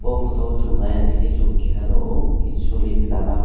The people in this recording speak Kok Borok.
o photo chung nai naisikhe chung keha nukgo it solin lama.